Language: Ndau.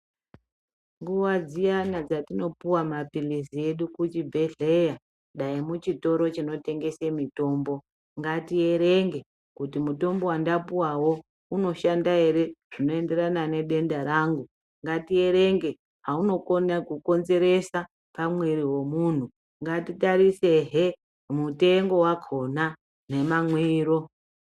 Nguwa dziyana dzatinopuwa maphilizi muchibhedhleya dai muchitoro chinotengese mitombo, ngatierenge kuti mutombo wandapuwao unoshanda ere zvinoenderana nedenda rangu ngatierenge zvaunokona kukonzeresa mumwiri wemunhu. Ngatitarisehe mutengo wakona nemamwiro.